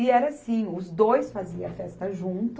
E era assim, os dois faziam a festa junto.